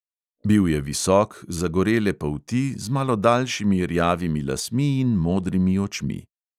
Bil je visok, zagorele polti, z malo daljšimi rjavimi lasmi in modrimi očmi.